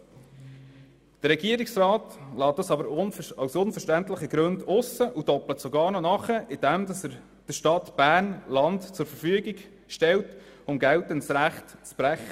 Der Regierungsrat lässt dies aber aus unverständlichen Gründen aus und doppelt sogar nach, indem er der Stadt Bern Land zur Verfügung stellt um geltendes Recht zu brechen.